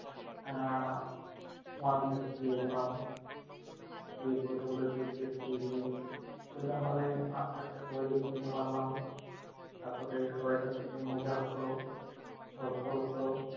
আহ one থেকে পেয়ে গেলাম, যে প্রথাগুলো থেকে তো এরোমভাবে আস্তে আস্তে সবাইকে চিনতে পারলাম। তারপরে সবাইকার সাথে মজা হতো, গল্প হতো